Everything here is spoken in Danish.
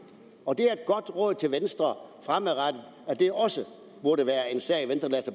det er venstre fremadrettet at det også burde være en sag